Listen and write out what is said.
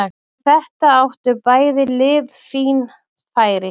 Eftir þetta áttu bæði lið fín færi.